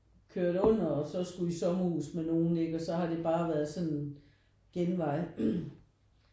Kørt derunder og så skulle i sommerhus med nogen ikke og så har det bare været sådan en genvej